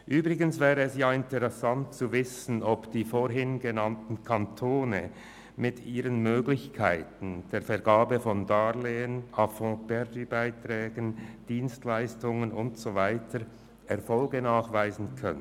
Übrigens wäre es interessant zu wissen, ob die vorhin genannten Kantone mit ihren Möglichkeiten der Vergabe von Darlehen, A-fonds-perdu-Beiträgen, Dienstleistungen und so weiter Erfolge nachweisen können.